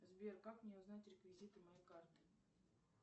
сбер как мне узнать реквизиты моей карты